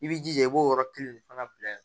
I b'i jija i b'o yɔrɔ kelen de fana bila yen